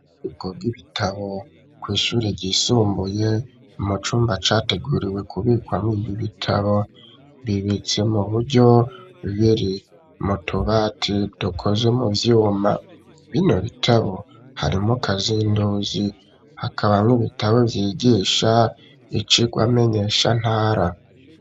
Ububiko bw'ibitabo kw'ishure ryisumbuye mu cumba categuriwe ku bikwamwo ibi bitabo bibitse mu buryo biri mutubati dukoze mu vyuma bino bitabo harimwo kazinduzi hakabamwo ibitabo vyigisha icirwa menyesha ntara